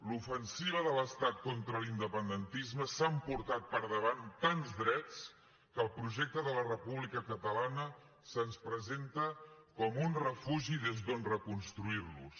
l’ofensiva de l’estat contra l’independentisme s’ha emportat per davant tants drets que el projecte de la república catalana se’ns presenta com un refugi des d’on reconstruir los